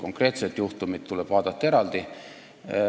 Konkreetset juhtumit tuleb vaadata eraldi.